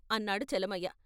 ' అన్నాడు చలమయ్య.